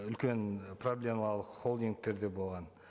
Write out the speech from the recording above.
үлкен ы проблемалық холдингтер де болған